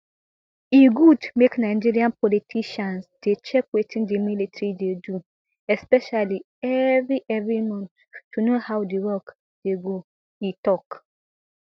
e good make nigerian politicians dey check wetin di military dey do especially evri evri month to know how di work dey go e tok